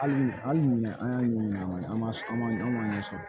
Hali ni an y'a ɲɛɲini an ma sɔn an ma an ma ɲɛ sɔrɔ